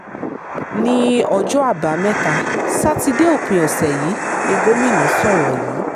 ní ọjọ́ àbámẹ́ta sátidé òpin ọ̀sẹ̀ yìí ni gómìnà sọ̀rọ̀ yìí